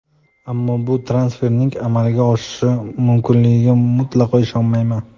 Ammo bu transferning amalga oshishi mumkinligiga mutlaqo ishonmayman.